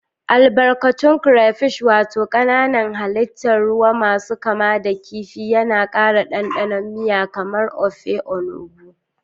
Albarkatun Crayfish wato kanan hallitan ruwamasu kama da kifi yana ƙara ɗanɗanon miya kamar Ofe Onugbu.